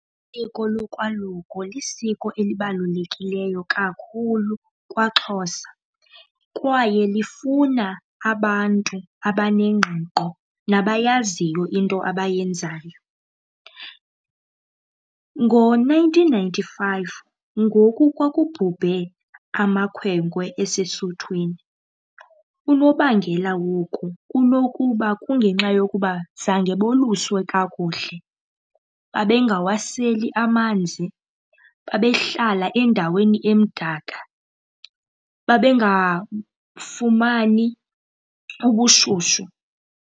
Isiko lokwaluko lisiko elibalulekileyo kakhulu kwaXhosa kwaye lifuna abantu abanengqiqo nabayaziyo into abayenzayo. Ngo-nineteen ninety-five ngoku kwakubhubhe amakhwenkwe esesuthwini, unobangela woku kunokuba kungenxa yokuba zange boluswe kakuhle, babengawaseli amanzi, babehlala endaweni emdaka, babengafumani ubushushu.